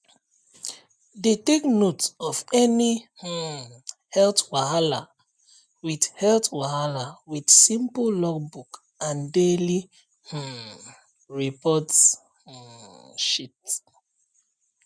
dey take note of any um health wahala with health wahala with simple logbook and daily um report um sheet